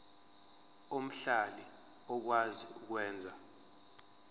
omhlali okwazi ukwenza